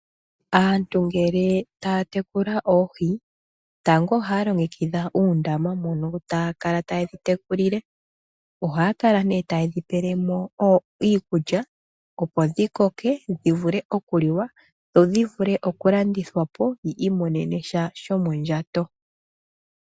Aantu ngele taya tekula oohi, tango ohaya longekidha uundama mono taya kala taye dhitekulile, ohaya kala ne taye dhipele mo iikulya opo dhikoke dhivule okuliwa dho dhivule okulandithwa po yi imonene sha shomondjato.